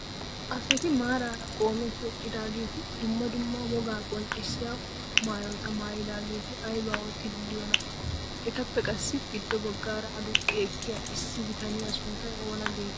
Asati maarara qoometti eqqidaageti dumma dumma wogaa qonccisiyaa maayotta maayidaageti aybaa oottiidi de'iyoonaa? etappe qassi giddo baggaara aduqqi ekkiyaa issi bitaniyaa sunttay oona getettii?